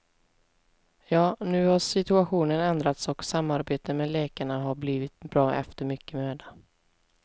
Ja, nu har situationen ändrats och samarbetet med läkarna har blivit bra efter mycket möda.